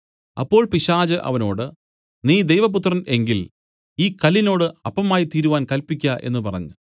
അപ്പോൾ പിശാച് അവനോട് നീ ദൈവപുത്രൻ എങ്കിൽ ഈ കല്ലിനോട് അപ്പമായിത്തീരുവാൻ കല്പിക്ക എന്നു പറഞ്ഞു